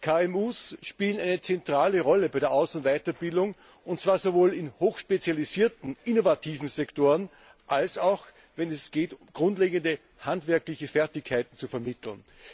Die KMU spielen eine zentrale Rolle bei der Aus und Weiterbildung, und zwar sowohl in hochspezialisierten innovativen Sektoren, als auch wenn es gilt, grundlegende handwerkliche Fertigkeiten zu vermitteln.